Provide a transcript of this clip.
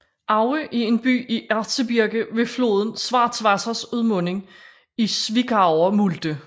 Aue er en by i Erzgebirge ved floden Schwarzwassers udmunding i Zwickauer Mulde